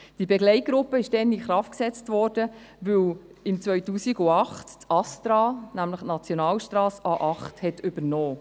Die Begleitgruppe wurde in Kraft gesetzt, weil im Jahr 2008 das ASTRA die Nationalstrasse A8 übernahm.